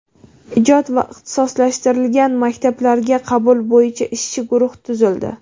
ijod va ixtisoslashtirilgan maktablarga qabul bo‘yicha ishchi guruh tuzildi.